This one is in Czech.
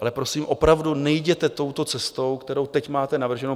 Ale prosím, opravdu nejděte touto cestou, kterou teď máte navrženou.